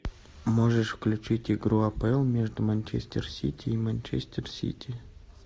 можешь включить игру апл между манчестер сити и манчестер сити